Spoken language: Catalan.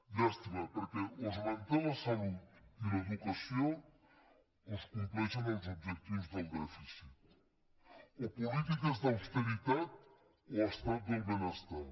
llàstima perquè o es manté la salut i l’educació o es compleixen els objectius del dèficit o polítiques d’austeritat o estat del benestar